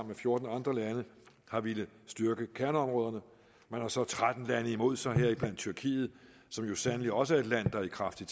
med fjorten andre lande har villet styrke kerneområderne man har så tretten lande imod sig heriblandt tyrkiet som jo sandelig også er et land der er i kraftig